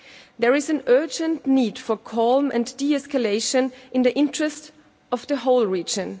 There is an urgent need for calm and de-escalation in the interest of the whole region.